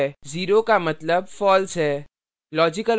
zero का मतलब false है